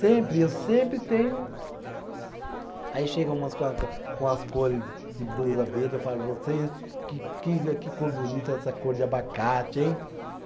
Sempre, eu sempre tenh. Aí chegam umas com a, com as cores de blusa verde, eu falo, você, que que a, que cor bonita essa cor de abacate, hein?